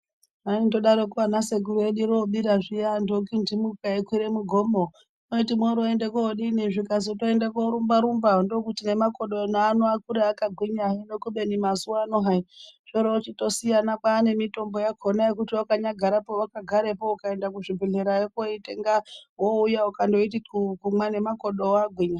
Vaindodaroko ana sekuru vedu robira zviya antu okindimuka eikwire mugomo waiti woroende kodini zvikazi kuende korumba rumba ndokuti nemakodo ano akure akagwinya hino kubeni mazuwano hai zvorochitosiyana kwane mitombo yakona yekuti wakanyagara pawakagarepo ukaenda kuzvibhedhlera koitenga wouya ukandoiti xuu kumwa ngemakodowo agwinya.